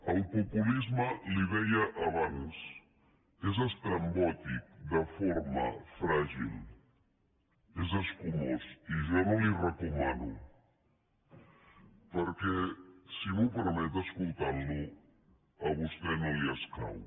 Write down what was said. el populisme li ho deia abans és estrambòtic de forma fràgil és escumós i jo no li ho recomano perquè si m’ho permet escol·tant·lo a vostè no li escau